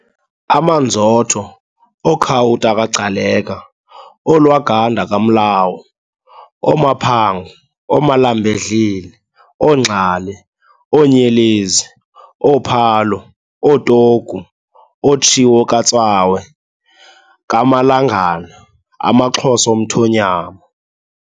AmaNzotho, ooKhawuta kaGcaleka, ooLwaganda kaMlawu, ooMaphango, ooMalambedlile, ooNgxale, ooNyelenzi, ooPhalo, ooTogu, ooTshiwo kaTswawe, kaMalangana, AmaXhosa omthonyama.